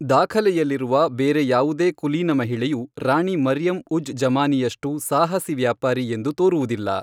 ದಾಖಲೆಯಲ್ಲಿರುವ ಬೇರೆ ಯಾವುದೇ ಕುಲೀನ ಮಹಿಳೆಯು ರಾಣಿ ಮರಿಯಂ ಉಜ್ ಜಮಾನಿಯಷ್ಟು ಸಾಹಸಿ ವ್ಯಾಪಾರಿ ಎಂದು ತೋರುವುದಿಲ್ಲ.